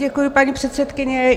Děkuji, paní předsedkyně.